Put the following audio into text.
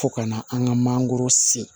Fo ka na an ka mangoro se